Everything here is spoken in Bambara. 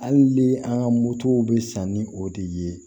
Hali ni an ka motow bɛ san ni o de ye